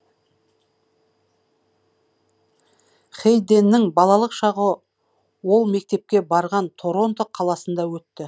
хейденнің балалық шағы ол мектепке барған торонто қаласынды өтті